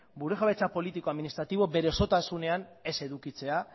gure jabetza politiko administratibo bere osotasunean ez edukitzea